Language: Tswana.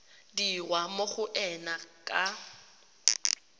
dirwa mo go ena ka